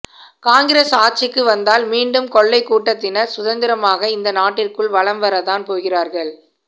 காங்கிரஸ் ஆட்சிக்கு வந்தால் மீண்டும் கொள்ளை கூட்டத்தினர் சுதந்திரமாக இந்த நாட்டிற்குள் வலம் வர தான் போகிறார்கள்